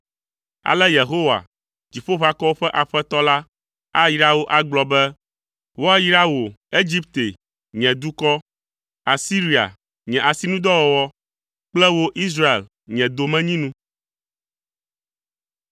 Ale Yehowa, Dziƒoʋakɔwo ƒe Aƒetɔ la ayra wo agblɔ be, “Woayra wò, Egipte, nye dukɔ, Asiria, nye asinudɔwɔwɔ kple wò, Israel, nye domenyinu.”